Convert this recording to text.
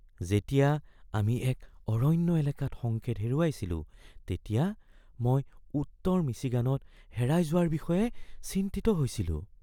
যেতিয়া আমি এক অৰণ্য় এলেকাত সংকেত হেৰুৱাইছিলোঁ তেতিয়া মই উত্তৰ মিচিগানত হেৰাই যোৱাৰ বিষয়ে চিন্তিত হৈছিলোঁ ।